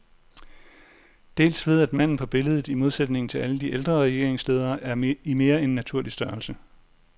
Dels ved at manden på billedet, i modsætning til alle de ældre regeringsledere, er i mere end naturlig størrelse.